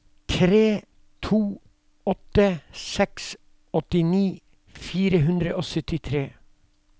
tre to åtte seks åttini fire hundre og syttifire